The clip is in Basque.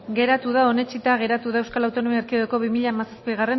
geratu da onetsita geratu da euskal autonomia erkidegoko bi mila hamazazpigarrena